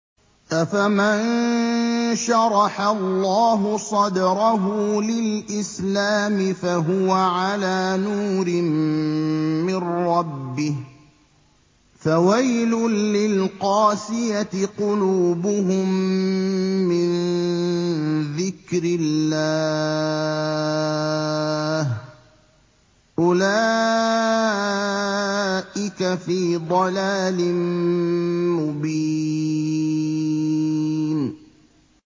أَفَمَن شَرَحَ اللَّهُ صَدْرَهُ لِلْإِسْلَامِ فَهُوَ عَلَىٰ نُورٍ مِّن رَّبِّهِ ۚ فَوَيْلٌ لِّلْقَاسِيَةِ قُلُوبُهُم مِّن ذِكْرِ اللَّهِ ۚ أُولَٰئِكَ فِي ضَلَالٍ مُّبِينٍ